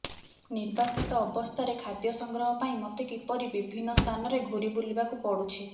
ନିର୍ବାସିତ ଅବସ୍ଥାରେ ଖାଦ୍ୟ ସଂଗ୍ରହ ପାଇଁ ମତେ କିପରି ବିଭିନ୍ନ ସ୍ଥାନରେ ଘୂରି ବୁଲିବାକୁ ପଡୁଛି